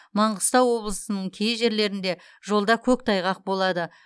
манғыстау облысының кей жерлерінде жолда көктайғақ болады